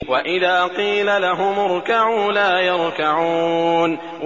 وَإِذَا قِيلَ لَهُمُ ارْكَعُوا لَا يَرْكَعُونَ